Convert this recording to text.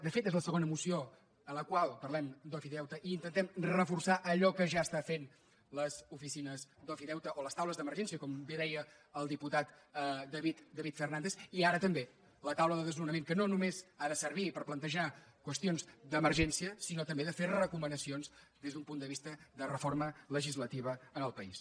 de fet és la segona moció amb la qual parlem d’ofideute i intentem reforçar allò que ja estan fent les oficines d’ofideute o les taules d’emergència com bé deia el diputat david fernàndez i ara també la taula de desnonament que no només ha de servir per plantejar qüestions d’emergència sinó també de fer recomanacions des d’un punt de vista de reforma legislativa en el país